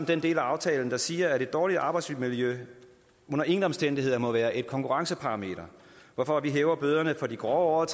den del af aftalen der siger at et dårligt arbejdsmiljø under ingen omstændigheder må være et konkurrenceparameter hvorfor vi hæver bøderne for de grove